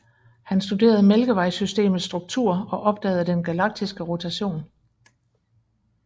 Han studerede Mælkevejsystemets struktur og opdagede den galaktiske rotation